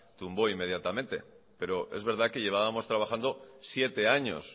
tumbó inmediatamente pero es verdad que llevábamos trabajando siete años